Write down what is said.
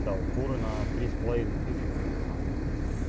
да у фуры на три с половиной тысячи он сказал